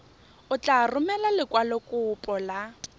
o tla romela lekwalokopo la